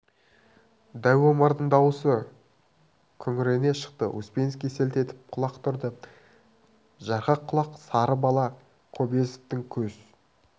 дәу омардың дауысы күңірене шықты успенский селт етіп құлақ түрді жарғақ құлақ сары бала кобозевтің көз